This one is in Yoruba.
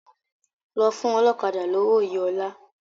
Lọ fún ọlọ́kadà lówó yìí ọ́la!